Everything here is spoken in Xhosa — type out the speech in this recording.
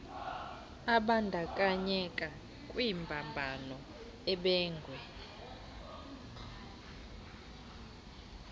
abandakanyeka kwimbambano ebangwe